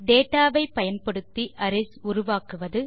data வை பயன்படுத்தி arrays உருவாக்குவது